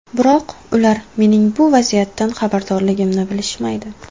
Biroq ular mening bu vaziyatdan xabardorligimni bilishmaydi.